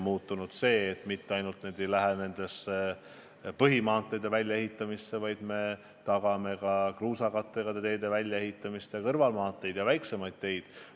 Muutunud on see, et raha ei lähe ainult põhimaanteede väljaehitamiseks, vaid me tagame ka kõrvalmaanteede ja väiksemate kruusakattega teede korrashoiu.